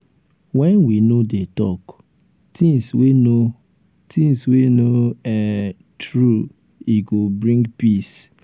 wen we no dey talk um things wey no things wey no um true e go bring um peace.